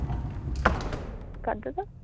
কার দাদা?